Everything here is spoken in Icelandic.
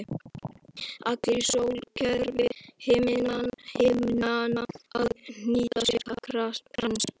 Allir í sólkerfi himnanna að hnýta sér krans.